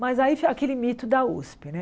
Mas aí aquele mito da Usp, né?